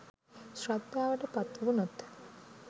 ශ්‍රද්ධාවට පත්වුණොත්